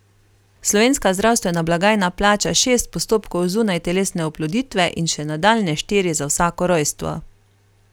Slovenska zdravstvena blagajna plača šest postopkov zunajtelesne oploditve in še nadaljnje štiri za vsako rojstvo.